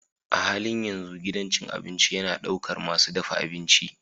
A halin yanzu gidan cin abinci yana ɗaukar masu dafa abinci.